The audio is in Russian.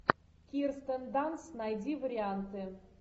кирстен данст найди варианты